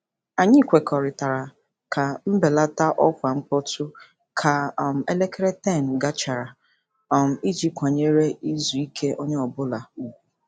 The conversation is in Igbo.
Anyị kwekọrịtara ka mbelata ọkwa mkpọtụ ka um elekere 10 gachara um iji kwanyere izu ike onye ọ bụla ùgwù.